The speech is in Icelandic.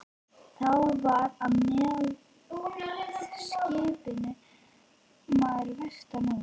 Þá var og með skipinu maður vestan úr